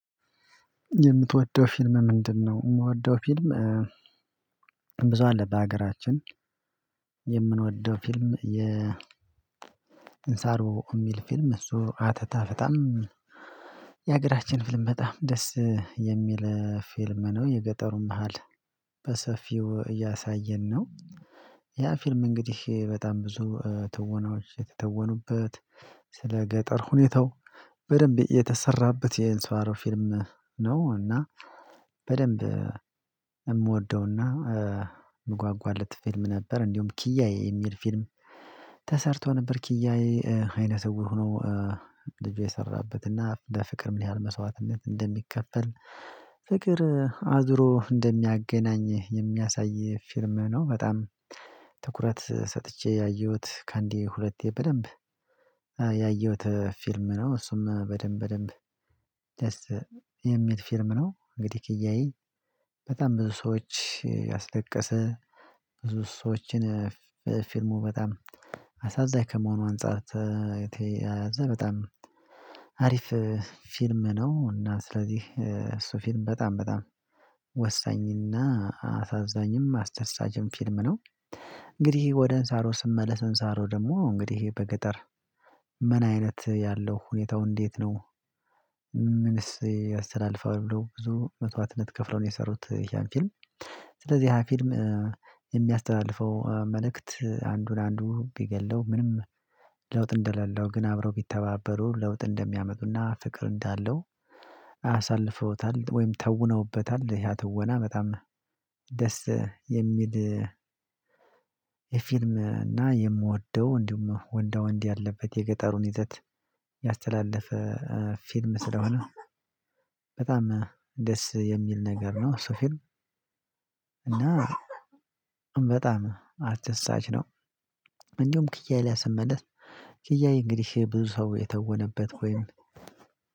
የምትወደው ፊልም ምንድንነው? የምወደው ፊልም ብዙ አለ በሀገራችን የምንወደው ፊልም የ እንሳሮ የሚል ፊልም እሱ አተታፈታም የሀገራችን ፊልም በጣም ደስ የሚል ፊልም ነው። የገጠሩን ባህል በሰፊው እያሳየን ነው ያ ፊልም እንግዲህ በጣም ብዙ ትወናዎች የተተወኑበት ስለ ገጠር ሁኔታው በደንብ የተሰራበት የእንሳሮ ፊልም ነው። እና በደንብ የምወደውና የምጓጓለት ፊልም ነበር። እንዲሁም ኪያዬ የሚል ፊልም ተሰርቶ ነበር ኪያዬ አይነ ስውር ሆኖ ልጅ የሰራበት ለፍቅር ምን ያህል መስዋዕትነት እንደሚከፈል ፍቅር አዙሮ እንደሚያገናኝህ የሚያሳይ ፊልም ነው። በጣም ትኩረት ሰጥቼ ያየሁት ከአንዴ ሁለቴ በደንብ ያየሁት ፊልም ነው። እሱም በደንብ በደንብ የሚል ፊልም ነው። እንግዲህ ኪያየ በጣም ብዙ ሰዎች ያስለቀሰ ብዙ ሰዎችን ፊልሙ በጣም አሳዛኝ ከመሆኑ አንፃር ተ የተ የተያዘ በጣም አሪፍ ፊልም ነው። እና ስለዚህ እሱ ፊልም በጣም በጣም ወሳኝና አሳዛኝም አስደሳችም ፊልም ነው። እንግዲህ ወደ እንሳሮ ስመለስ እንሳሮ ደግሞ እንግዲህ በገጠር ምን አይነት ያለው ሁኔታው እንዴት ነው? ምንስ ያስተላልፋል ብለው ብዙ መስዋዕትነት ከፍለው ነው የሰሩት ይኸን ፊልም ስለዚህ ያ ፊልም የሚያስተላልፈው መልእክት አንዱን አንዱ ቢገድለው ምንም ለውጥ እንደሌለው ግን አብረው ቢተባበሩ ለውጥ እንደሚያመጡና ፍቅር እንዳለው አሳልፈውታል ወይም ተውነውበታል ያ ትወና በጣም ደስ የሚል። የፊልም እና የምወደው እንዲሁም ወንዳ ወንድ ያለበት የገጠሩን ይዘት ያስተላለፈ ፊልም ስለሆነ በጣም ደስ የሚል ነገር ነው እሱ ፊልም። እና በጣም አስደሳች ነው። እንዲሁም ኪያዬ ላይ ስመለስ ኪያዬ እንግዲህ ብዙ ሰው የተወነበት ወይም